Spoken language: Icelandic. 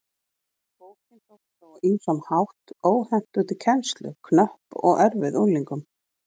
Bókin þótti þó á ýmsan hátt óhentug til kennslu, knöpp og erfið unglingum.